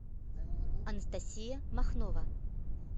анастасия махнова